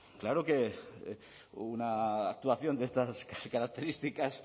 claro que una actuación de estas características